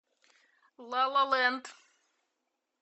ла ла ленд